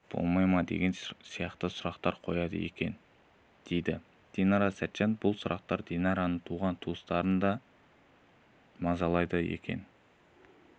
болмай ма деген сияқты сұрақтарды қояды дейді динара сәтжан бұл сұрақ динараның туған-туыстарын да мазалайды екен